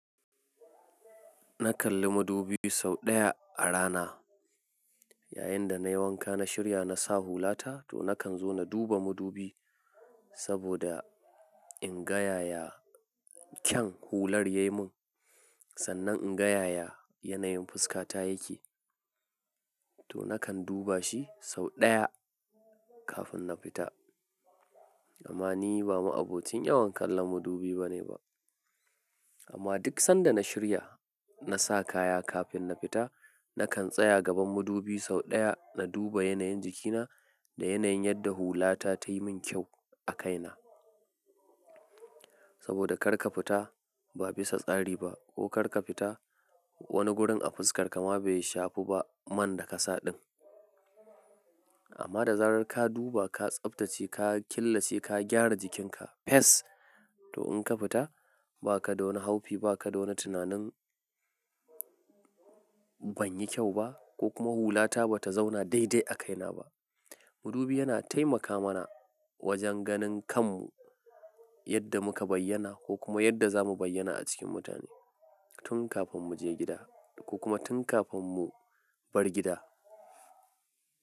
Na kalli madubi sau ɗaya a rana. Yayin da na yi wanka na shirya na sa hulata, to na kan zo na duba madubi. Saboda in gayaya kyan hular ya yi mun, sannan in ga yaya yanayin fuskata yake. To na kan duba shi sau ɗaya kafin na fita. Amma ni ba ma'abocin yawan kallon madubi ba ne ba. Amma duk sanda na shirya na sa kaya kafin na fita, na kan tsaya gaban madubi sau ɗaya na duba yanayin jikina da yanayin yadda hulata ta yi mun kyau a kaina. Saboda kar ka fita ba bisa tsari ba ko kar ka fita wani gurin a fuskarka ma bai shafu ba man da ka sa ɗin. Amma da zarar ka duba, ka tsaftace, ka killace, ka gyara jikinka fes! To in ka fita ba ka dau wani haufi, ba ka dau wani tunanin ban yi kyau ba ko kuma hulata ba ta zauna daidai a kaina ba. Madubi yana taimaka mana wajen ganin kanmu yadda muka bayyana ko kuma yadda za mu bayyana a cikin mutane tun kafin mu je gida ko kuma tun kafin mu bar gida.